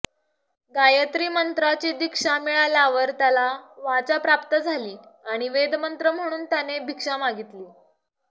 गायत्री मंत्राची दीक्षा मिळाल्यावर त्याला वाचा प्राप्त झाली आणि वेदमंत्र म्हणून त्याने भिक्षा मागितली